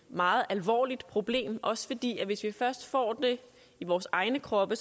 meget alvorligt problem også fordi det er hvis vi først får det i vores egne kroppe